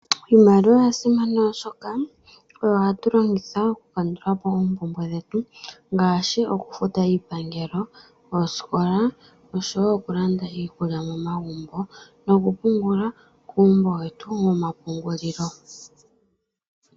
Iimaliwa oya simana oshoka oyo hatu longitha oku kandulapo oompumbwe dhetu, ngaashi oku futa oosikola, iipangelo noshowo okulanda iikulya momagumbo noku pungula kuumbo wetu womapungulilo.